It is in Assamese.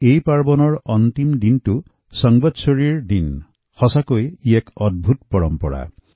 এই পৰ্যুষণ পৰবৰ অন্তিম দিনা সম্বৎসৰি উৎসৱ যি সঁচাই এক আশ্চৰ্যকৰ পৰম্পৰা